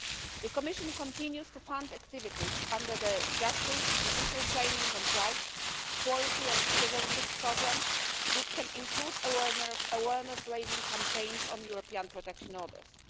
The Commission continues to fund activities under the Justice, Judicial Training, and Rights, Equality and Citizenship programmes which can include awareness raising campaigns on European Protection Orders.